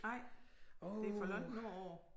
Nej det er for langt nordpå